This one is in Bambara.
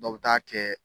Dɔw bɛ taa kɛ